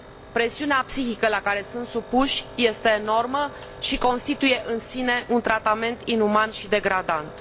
Presiunea psihică la care sunt supuși este enormă și constituie în sine un tratament inuman și degradant.